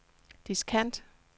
diskant